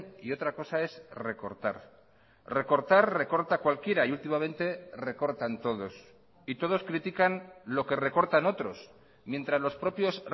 y otra cosa es recortar recortar recorta cualquiera y últimamente recortan todos y todos critican lo que recortan otros mientras los propios